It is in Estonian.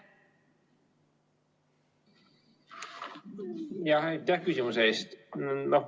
Aitäh küsimuse eest!